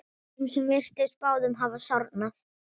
Þeim virtist báðum hafa sárnað.